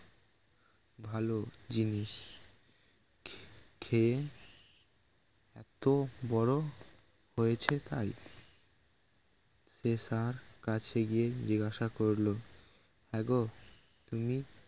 ভালো জিনিস খেয়ে এত বড় হয়েছে তাই সে ষাড় কাছে গিয়ে জিজ্ঞাসা করলো হ্যাঁ গো তুমি